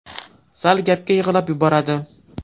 Sal gapga yig‘lab yuboradi.